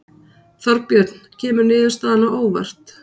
Þorbjörn kemur niðurstaðan á óvart?